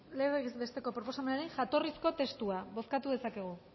legez besteko proposamenaren jatorrizko testua bozkatu dezakegu